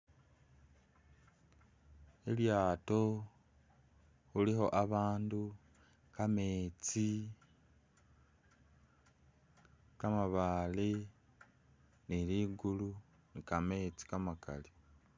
Lilyato huliho abandu, kametsi, kamabale niligulu ni kametsi kamakali